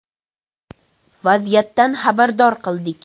Vaziyatdan xabardor qildik.